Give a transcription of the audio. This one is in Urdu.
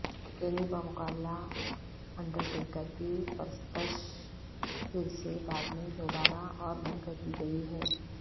کینی بمقابلہ انڈرٹیکر کی پرستش پھر سے بعد میں دوبارہ اور بند کردی گئی ہے